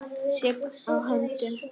Sigg á höndum.